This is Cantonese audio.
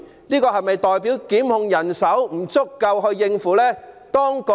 這是否代表檢控人手不足夠應付這工作量？